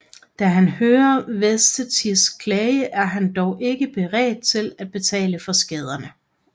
Da han hører Vesetis klage er han dog ikke beredt på at betale for skaderne